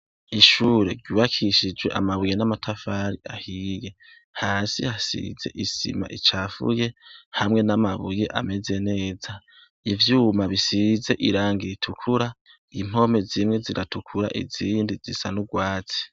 Ishure ryubakishijwe amabuye n'amatafari ahiye. Hasi hasize isima icafuye hamwe n'amabuye ameze neza. Ivyuma bisize irangi ritukura, impome zimwe ziratukura, izindi zisa n'urwatsi.